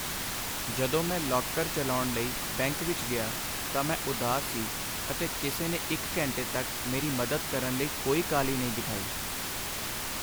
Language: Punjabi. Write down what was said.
ਜਦੋਂ ਮੈਂ ਲਾਕਰ ਚਲਾਉਣ ਲਈ ਬੈਂਕ ਵਿੱਚ ਗਿਆ ਤਾਂ ਮੈਂ ਉਦਾਸ ਸੀ ਅਤੇ ਕਿਸੇ ਨੇ ਇੱਕ ਘੰਟੇ ਤੱਕ ਮੇਰੀ ਮਦਦ ਕਰਨ ਲਈ ਕੋਈ ਕਾਹਲੀ ਨਹੀਂ ਦਿਖਾਈ।